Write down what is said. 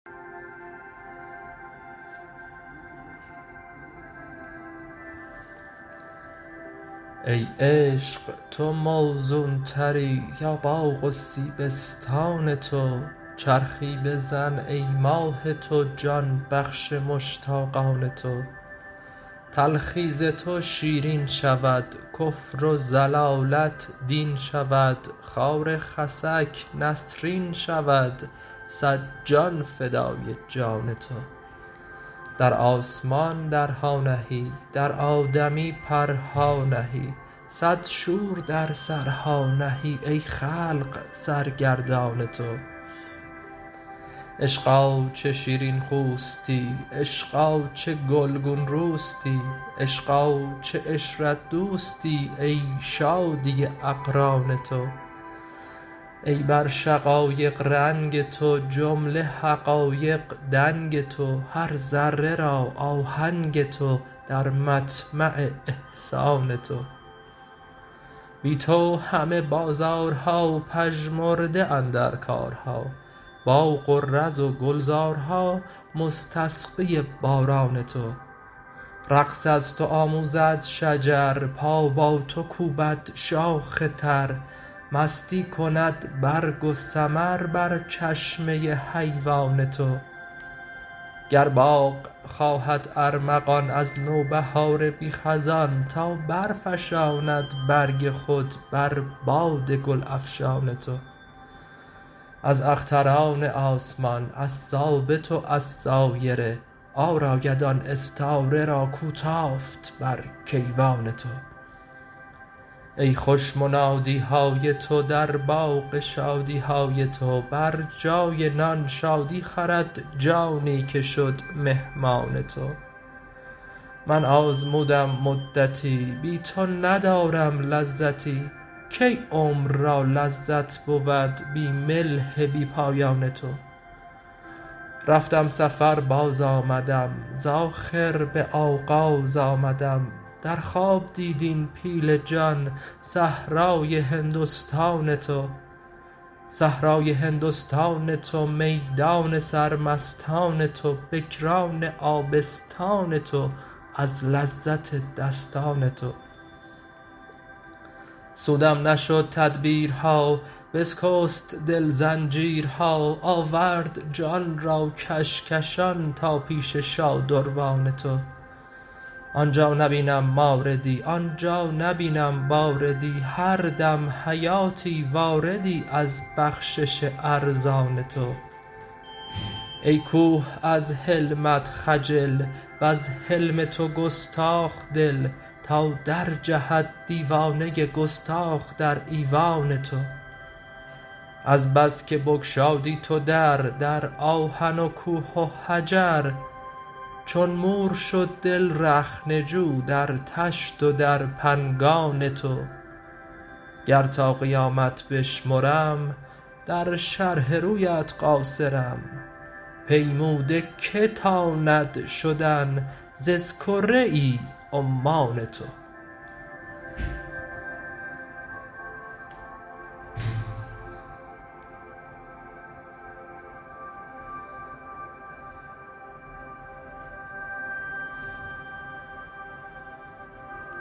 ای عشق تو موزونتری یا باغ و سیبستان تو چرخی بزن ای ماه تو جان بخش مشتاقان تو تلخی ز تو شیرین شود کفر و ضلالت دین شود خار خسک نسرین شود صد جان فدای جان تو در آسمان درها نهی در آدمی پرها نهی صد شور در سرها نهی ای خلق سرگردان تو عشقا چه شیرین خوستی عشقا چه گلگون روستی عشقا چه عشرت دوستی ای شادی اقران تو ای بر شقایق رنگ تو جمله حقایق دنگ تو هر ذره را آهنگ تو در مطمع احسان تو بی تو همه بازارها پژمرده اندر کارها باغ و رز و گلزارها مستسقی باران تو رقص از تو آموزد شجر پا با تو کوبد شاخ تر مستی کند برگ و ثمر بر چشمه حیوان تو گر باغ خواهد ارمغان از نوبهار بی خزان تا برفشاند برگ خود بر باد گل افشان تو از اختران آسمان از ثابت و از سایره عار آید آن استاره را کو تافت بر کیوان تو ای خوش منادی های تو در باغ شادی های تو بر جای نان شادی خورد جانی که شد مهمان تو من آزمودم مدتی بی تو ندارم لذتی کی عمر را لذت بود بی ملح بی پایان تو رفتم سفر بازآمدم ز آخر به آغاز آمدم در خواب دید این پیل جان صحرای هندستان تو صحرای هندستان تو میدان سرمستان تو بکران آبستان تو از لذت دستان تو سودم نشد تدبیرها بسکست دل زنجیرها آورد جان را کشکشان تا پیش شادروان تو آن جا نبینم ماردی آن جا نبینم باردی هر دم حیاتی واردی از بخشش ارزان تو ای کوه از حلمت خجل وز حلم تو گستاخ دل تا درجهد دیوانه ای گستاخ در ایوان تو از بس که بگشادی تو در در آهن و کوه و حجر چون مور شد دل رخنه جو در طشت و در پنگان تو گر تا قیامت بشمرم در شرح رویت قاصرم پیموده کی تاند شدن ز اسکره عمان تو